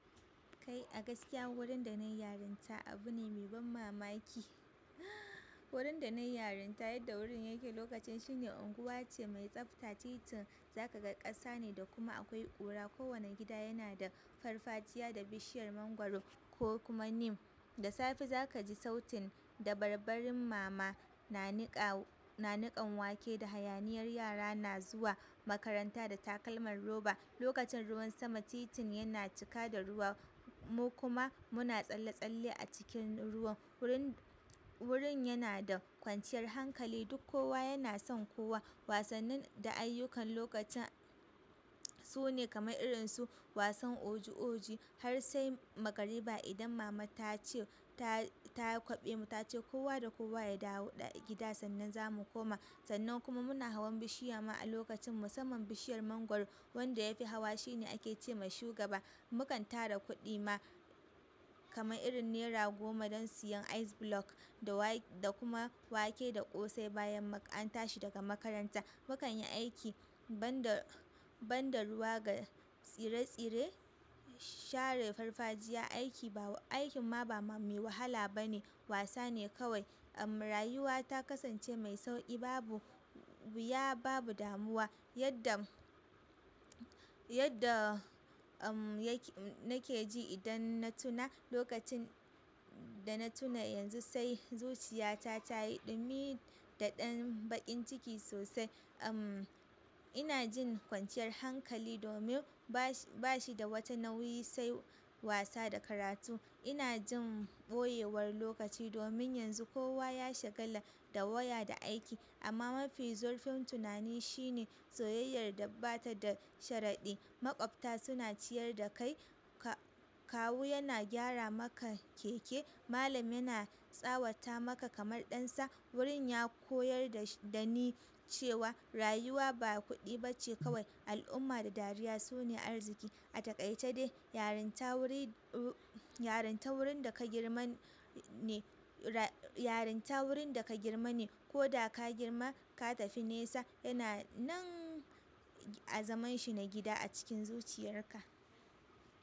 Kai a gaskiya wurin da na yi yarinta abu ne mai ban mamaki. Wurin da nayi yarinta, yadda wurin yake lokacin shine, unguwace mai tsafta, tiin za ka ga kasa ne da kuma akwai kira. Kowane gida yana da farfajiya da bishiyar mangwaro ko kuma neem. Da safe za ka ji sautin da barbarin mama, nanika-nanikan wake da hayaniyar yara na zuwa makaranta da takalman roba. Lokacin ruwan sama titin yana cika da ruwa, mu kuma muna tsalle-tsalle a cikin ruwan. Wurin, wurin yana da kwanciyar hankali duk kowa yana son kowa. Wasannin da ayyukan lokacin sune kamar irin su wasan oji oji, har sai magariba idan mama ta ce ta, ta kwaɓe mu ta ce kowa da kowa ya dawo gida sannan za mu koma. Sannan kuma muna hawan bishiya ma lokacin, musamman bishiyar mangwaro. Wamda yafi hawa shi ne ake ce ma shugaba. Mu kan tara kuɗi ma, kamar irin nera goma don siyan ice block da wake da kuma wake da ƙosai bayan an tashi daga makaranta. Mu kan yi aiki banda, banda ruwa ga tsire-tsire, share farfajiya aiki ba, aikin ma ba mai wahala ba ne wasa ne kawai. Umm rayuwa ta kasance mai sauƙi, babu wuya babu damuwa yadda, yadda umm yake nake ji idan na tuna lokacin da na tuna yanzu sai zuciya ta yayi ɗumi da ɗan baƙin ciki sosai. Umm ina jin kwanciyar hankali domin ba shi, ba shi da wata nauyi sai wasa da karatu. Ina jin ɓoyewar lokaci domin yanzu kowa ya shagala da waya da aiki, amma mafi zurfin tunani shine soyayyar da bata da sharadi. Maƙwabta suna ciyar da kai, kawu yana gyara maka keke, malam yana tsawata maka kamar ɗansa. Wurin ya koyar da ni cewa rayuwa ba kuɗi bace kawai al'umma da dariya sune arziki. A takaice dai yarinta wuri, yarinta wurin da ka girma ne, yarinta wurin da ka girma ne. Ko da ka girma ka tafi nesa yana nan a zaman shi na gida a cikin zuciyarka.